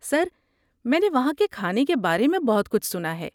سر، میں نے وہاں کے کھانے کے بارے میں بہت کچھ سنا ہے۔